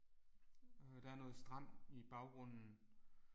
Øh der er noget strand i baggrunden